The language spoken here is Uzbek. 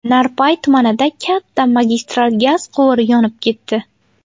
Narpay tumanida katta magistral gaz quvuri yonib ketdi.